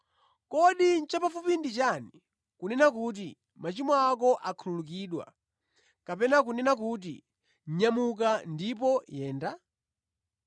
Kodi chapafupi ndi chiti: kunena kuti, ‘Machimo ako akhululukidwa,’ kapena kunena kuti, ‘Nyamuka ndipo yenda?’ ”